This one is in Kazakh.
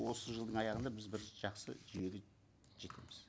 осы жылдың аяғында біз бір жақсы жүйеге жетеміз